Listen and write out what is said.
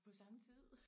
På samme tid